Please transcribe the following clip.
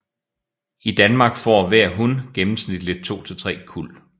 I Danmark får hver hun gennemsnitligt to til tre kuld